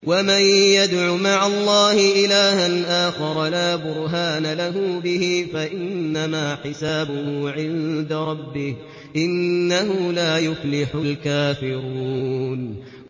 وَمَن يَدْعُ مَعَ اللَّهِ إِلَٰهًا آخَرَ لَا بُرْهَانَ لَهُ بِهِ فَإِنَّمَا حِسَابُهُ عِندَ رَبِّهِ ۚ إِنَّهُ لَا يُفْلِحُ الْكَافِرُونَ